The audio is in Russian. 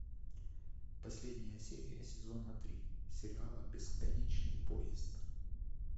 последняя серия сезона три сериала бесконечный поезд